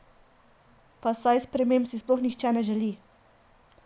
Pa saj sprememb si sploh nihče ne želi!